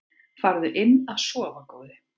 Farðu inn að sofa góði.